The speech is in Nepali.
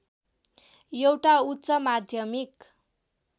एउटा उच्च माध्यमिक